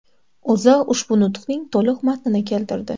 O‘zA ushbu nutqning to‘liq matnini keltirdi .